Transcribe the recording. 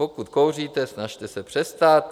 Pokud kouříte, snažte se přestat.